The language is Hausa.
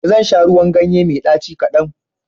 Zan sha ruwan ganye mai ɗaci kadan.